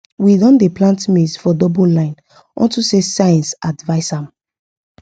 we don dey plant maize for double line onto say science advice am